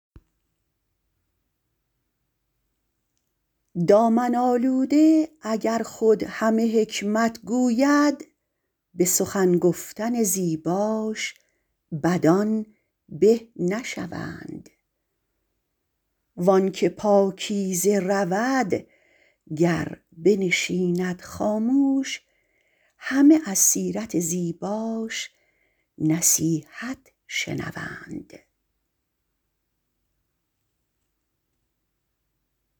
دامن آلوده اگر خود همه حکمت گوید به سخن گفتن زیباش بدان به نشوند وآن که پاکیزه رود گر بنشیند خاموش همه از سیرت زیباش نصیحت شنوند